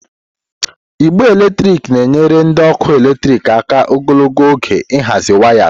Igbe eletrik na-enyere ndị ọkụ eletrik aka ogologo oge ịhazi wayas.